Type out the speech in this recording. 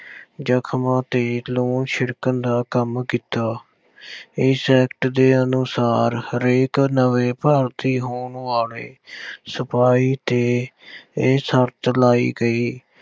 ਜਖ਼ਮਾਂ ਤੇ ਲੂਣ ਛਿੜਕਣ ਦਾ ਕੰਮ ਕੀਤਾ। ਇਸ act ਦੇ ਅਨੁਸਾਰ ਹਰੇਕ ਨਵੇਂ ਭਰਤੀ ਹੋਣ ਵਾਲੇ ਸਿਪਾਹੀ 'ਤੇ ਇਹ ਸ਼ਰਤ ਲਾਈ ਗਈ।